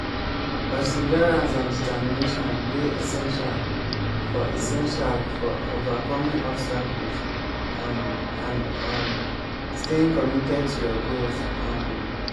perseverance and determination dey essential for essential for overcoming obstacles um and um staying committed to your goals. um